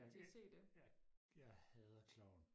ja det ja jeg hader klovn